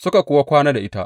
Suka kuwa kwana da ita.